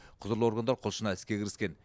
құзырлы органдар құлшына іске кіріскен